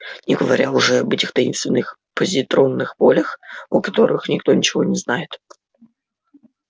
не говоря уже об этих таинственных позитронных полях о которых никто ничего не знает